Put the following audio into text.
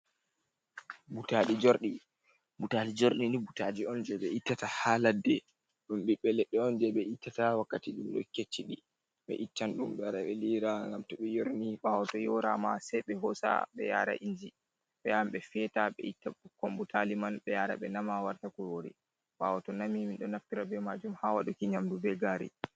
Butali jordi ,butalijordi ni butaji on je ɓe ittata ha ladde dum biɓbe ledde on je ɓe ittata wakkati dum kecci di be ittan dum be rebe lira gam to ɓe yorni ɓawo to yora ma sei be hosa be yara inji beyam be feta ɓe itta bukkon butali man be yara ɓe nama warta kurori ɓawo to nami mindo naftira be majum ha waduki nyamdu be gari.